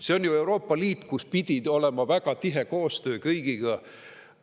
See on ju Euroopa Liit, kus pidi olema väga tihe koostöö kõigiga.